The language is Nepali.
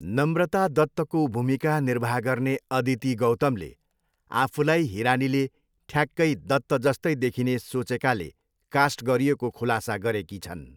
नम्रता दत्तको भूमिका निर्वाह गर्ने अदिती गौतमले आफूलाई हिरानीले ठ्याक्कै दत्तजस्तै देखिने सोचेकाले कास्ट गरिएको खुलासा गरेकी छन्।